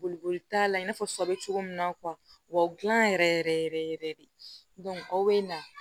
Boliboli t'a la i n'a fɔ sɔ bɛ cogo min na wɔ dilan yɛrɛ yɛrɛ yɛrɛ yɛrɛ de aw bɛ na